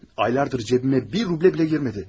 Aylardır cebimə bir rublə belə girmədi.